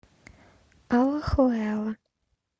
алахуэла